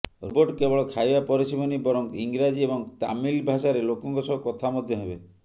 robot କେବଳ ଖାଇବା ପରଷିବନି ବରଂ ଇଂରାଜୀ ଏବଂ ତାମିଲ ଭାଷାରେ ଲୋକଙ୍କ ସହ କଥା ମଧ୍ୟ ହେବେ